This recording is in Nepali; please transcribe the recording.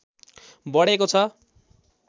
बढेको छ